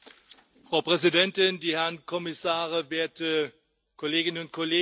Frau Präsidentin, die Herren Kommissare, werte Kolleginnen und Kollegen!